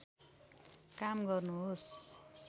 काम गर्नुहोस्